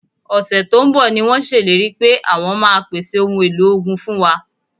Ọ̀sẹ̀ tó ń bọ̀ ni wọ́n ṣèlérí pé àwọn máa pèsè ohun èlò ogun fún wa